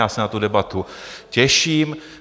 Já se na tu debatu těším.